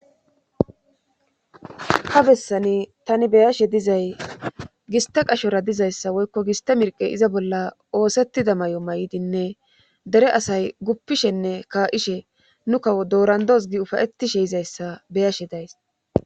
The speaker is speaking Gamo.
Ha bessani tani be7ashe dizay gistte qashora dizeyssa woykko gistte mirqqe iza bolla oosettida mayo mayidinne dere asay guppishenne kaa7ishe nu kawo dooranddoos gi ufayettishe yizayssa be7ashe days